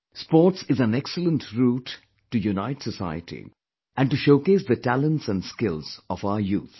Sports is an excellent route to unite society and to showcase the talents & skills of our youth